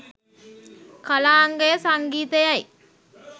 කලාංගය සංගීතයයි.